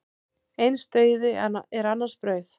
Eins dauði er annars brauð.